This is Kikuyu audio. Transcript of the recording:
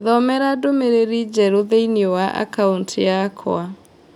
Thomera ndũmĩrĩri njerũ thĩinĩ wa akaunti yakwa